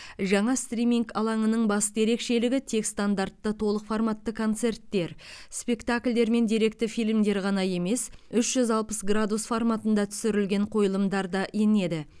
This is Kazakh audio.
жаңа стриминг алаңының басты ерекшелігі тек стандартты толық форматты концерттер спектакльдер мен деректі фильмдер ғана емес үш жүз алпыс градус форматында түсірілген қойылымдар да енеді